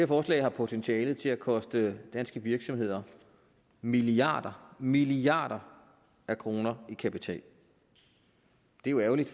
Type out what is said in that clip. forslag har potentiale til at koste danske virksomheder milliarder milliarder af kroner i kapital det er jo ærgerligt